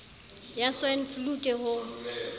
ya swine flu ke ho